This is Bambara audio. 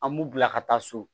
An b'u bila ka taa so